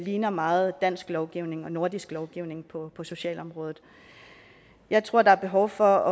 ligner meget dansk lovgivning og nordisk lovgivning på socialområdet jeg tror der er behov for